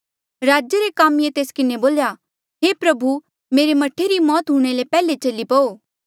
राजे रे कामीये तेस किन्हें बोल्या हे प्रभु मेरे मह्ठे री मौत हूंणे ले पैहले चली पऊ